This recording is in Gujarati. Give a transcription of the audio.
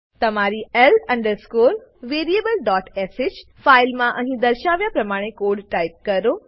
તમારી l variablesh ફાઈલમાં અહી દર્શાવ્યા પ્રમાણે કોડ ટાઈપ કરો